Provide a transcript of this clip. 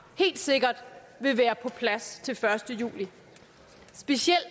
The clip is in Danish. helt sikkert vil være på plads til den første juli specielt